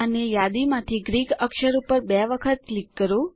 અને યાદીમાંથી ગ્રીક અક્ષર ઉપર બે વખત ક્લિક કરો